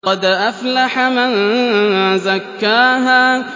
قَدْ أَفْلَحَ مَن زَكَّاهَا